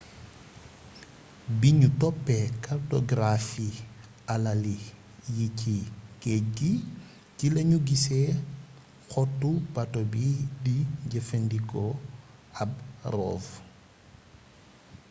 bi ñu toppé kartogaraafi alali yi ci géej gi ci lañu gisee xottu bato bi di jëfandikoo ab rov